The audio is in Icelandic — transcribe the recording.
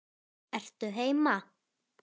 Ertu heima?